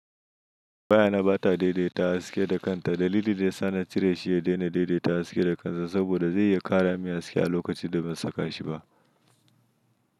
Wayana bata daidaita haske da kanta. Dalilin da yasa na cire shi ya daina daidaita haske da kansa saboda zai iya ƙara min haske a lokacin da ban saka shiba.